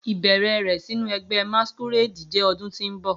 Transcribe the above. Ibẹrẹ rẹ sinu ẹgbẹ masquerade jẹ ọdun ti n bọ